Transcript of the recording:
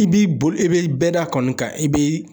I b'i boli e bɛ bɛda kɔni kan i bi